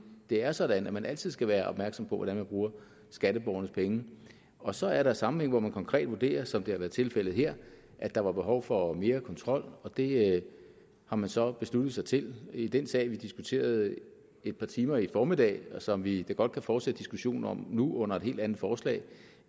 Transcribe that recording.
det er sådan at man altid skal være opmærksom på hvordan man bruger skatteborgernes penge og så er der sammenhænge hvor man konkret vurderer som det har været tilfældet her at der var behov for mere kontrol og det har man så besluttet sig til i den sag som vi diskuterede et par timer i formiddags og som vi da godt kan fortsætte diskussionen om nu under et helt andet forslag